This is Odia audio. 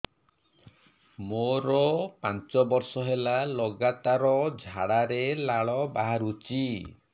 ମୋରୋ ପାଞ୍ଚ ବର୍ଷ ହେଲା ଲଗାତାର ଝାଡ଼ାରେ ଲାଳ ବାହାରୁଚି